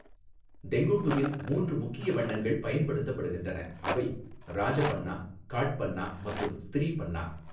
டெங்குட்டுவில், மூன்று முக்கிய வண்ணங்கள் பயன்படுத்தப்படுகின்றன. அவை, ராஜபன்னா, காட்பன்னா மற்றும் ஸ்த்ரிபன்னா.